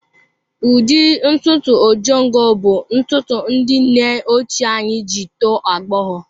Ụdị ntutu Ojongo bụ ntutu ndị nne ochie anyị ji tọọ agbọghọ.